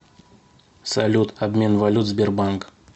салют обмен валют сбербанк